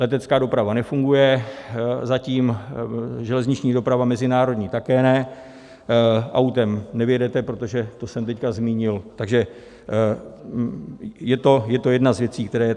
Letecká doprava nefunguje, zatím, železniční doprava mezinárodní také ne, autem nevyjedete, protože, to jsem teď zmínil, takže je to jedna z věcí, která je.